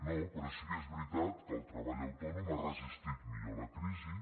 no però sí que és veritat que el treball autònom ha resistit millor la crisi